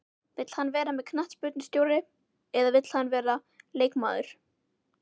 Vill hann vera knattspyrnustjóri eða vill hann vera leikmaður?